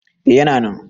A yana nan